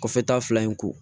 Kɔfɛ ta fila in ko